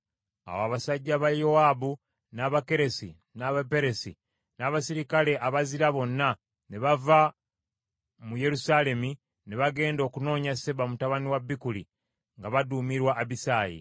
Awo abasajja ba Yowaabu, n’Abakeresi, n’Abaperesi, n’abaserikale abazira bonna, ne bava mu Yerusaalemi ne bagenda okunoonya Seba mutabani wa Bikuli nga baduumirwa Abisaayi.